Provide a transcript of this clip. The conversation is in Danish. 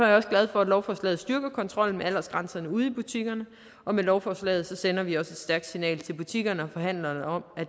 jeg også glad for at lovforslaget styrker kontrollen med aldersgrænserne ude i butikkerne og med lovforslaget sender vi også et stærkt signal til butikkerne og forhandlerne om at